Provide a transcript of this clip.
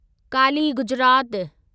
Kali Gujarat